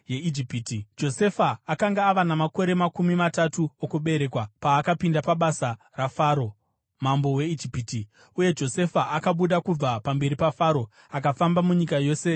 Josefa akanga ava namakore makumi matatu okuberekwa paakapinda pabasa raFaro mambo weIjipiti. Uye Josefa akabuda kubva pamberi paFaro akafamba munyika yose yeIjipiti.